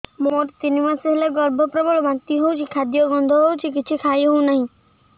ମୋର ତିନି ମାସ ହେଲା ଗର୍ଭ ପ୍ରବଳ ବାନ୍ତି ହଉଚି ଖାଦ୍ୟ ଗନ୍ଧ ହଉଚି କିଛି ଖାଇ ହଉନାହିଁ